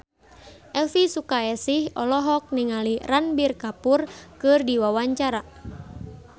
Elvi Sukaesih olohok ningali Ranbir Kapoor keur diwawancara